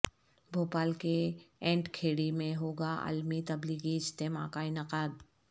بھوپال کے اینٹ کھیڑی میں ہوگا عالمی تبلیغی اجتماع کاانعقاد